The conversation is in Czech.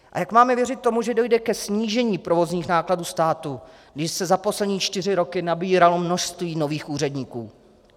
A jak máme věřit tomu, že dojde ke snížení provozních nákladů státu, když se za poslední čtyři roky nabíralo množství nových úředníků?